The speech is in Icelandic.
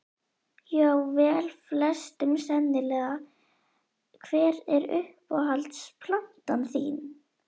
já vel flestum sennilega Hver er uppáhalds platan þín?